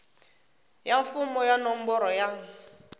ya mfumo ya nomboro ya